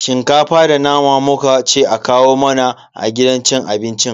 Shinkafa da nama muka ce a kawo mana a gidan cin abincin.